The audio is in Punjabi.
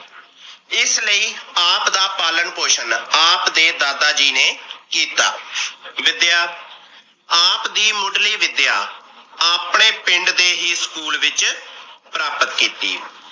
ਇਸ ਲਈ ਆਪ ਦਾ ਪਾਲਣ ਪੋਸ਼ਣ ਆਪ ਦੇ ਦਾਦਾ ਜੀ ਨੇ ਕੀਤਾ। ਵਿਦਿਆ ਆਪ ਦੀ ਮੁਢਲੀ ਵਿਦਿਆ ਆਪਣੇ ਪਿੰਡ ਦੇ ਹੀ ਸਕੂਲ ਵਿਚ ਪ੍ਰਾਪਤ ਕੀਤੀ ।